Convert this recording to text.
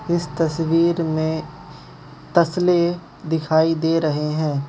इस तस्वीर में तसले दिखाई दे रहे हैं।